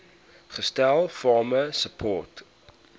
gestel farmer support